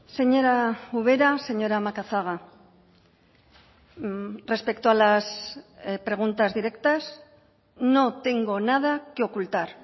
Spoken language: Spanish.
señora ubera señora macazaga respecto a las preguntas directas no tengo nada que ocultar